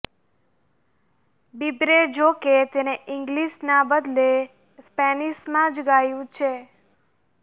બીબરે જોકે તેને ઇંગ્લીશના બદલે સ્પેનિશમાં જ ગાયું છે